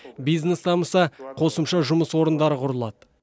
бизнес дамыса қосымша жұмыс орындары құрылады